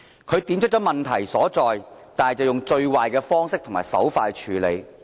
他點出問題所在，但以最壞的方式和手法來處理。